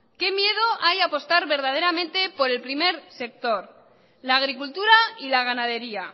qué miedo hay a apostar verdaderamente por el primer sector la agricultura y la ganadería